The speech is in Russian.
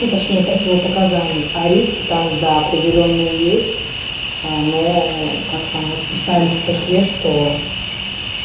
ну точнее противопоказаний а риски там да определённые есть но как там вот писали в статье что